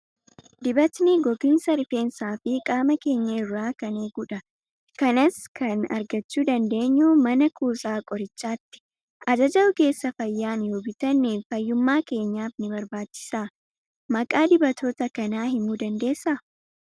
Dibatni gogiinsa rifeensaa fi qaama keenya irraa kan eegudha. Kanas kan argachuu dandeenyu mana kuusaa qorichaatti. Ajaja ogeessa fayyaan yoo bitanne fayyummaa keenyaaf ni barbaachisa. Maqaa dibatoota kanaa himuu ni dandeessaa?